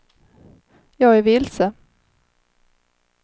jag är vilse